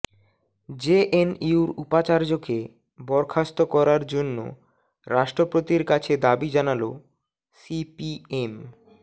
জেএনইউর উপাচার্যকে বরখাস্ত করার জন্য রাষ্ট্রপতির কাছে দাবি জানালো সিপিএম